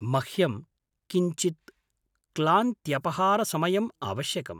मह्यं किञ्चित् क्लान्त्यपहारसमयम् आवश्यकम्।